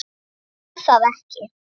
Hann má það ekki.